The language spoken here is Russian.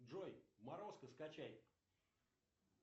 джой морозко скачай